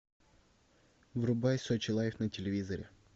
врубай сочи лайф на телевизоре